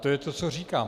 To je to, co říkám.